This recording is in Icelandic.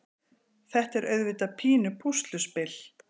Þetta er auðvitað pínu pússluspil.